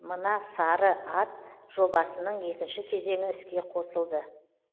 мына сары ат жобасының екінші кезеңі іске қосылды